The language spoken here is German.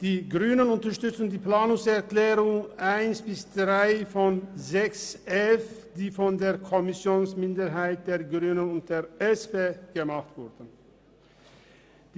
Die Grünen unterstützen die von der Kommissionsminderheit der Grünen und der SP eingereichten Planungserklärungen 1 bis 3 zum Themenblock 6.f.